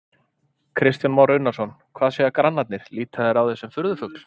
Kristján Már Unnarsson: Hvað segja grannarnir, líta þeir á þig sem furðufugl?